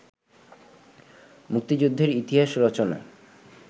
মুক্তিযুদ্ধের ইতিহাস রচনায়